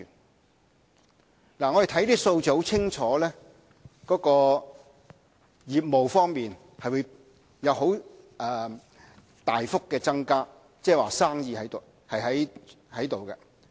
我們看看這些數字，很明顯，相關業務方面將會有大幅增加，即是說生意是存在的。